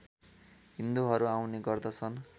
हिन्दूहरू आउने गर्दछन्